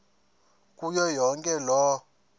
kuyo yonke loo